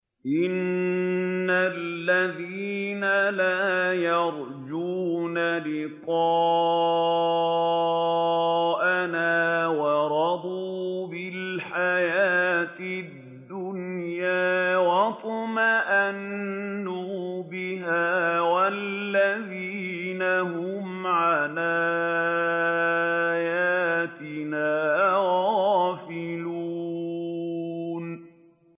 إِنَّ الَّذِينَ لَا يَرْجُونَ لِقَاءَنَا وَرَضُوا بِالْحَيَاةِ الدُّنْيَا وَاطْمَأَنُّوا بِهَا وَالَّذِينَ هُمْ عَنْ آيَاتِنَا غَافِلُونَ